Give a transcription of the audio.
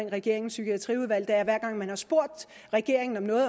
regeringens psykiatriudvalg er at hver gang man har spurgt regeringen om noget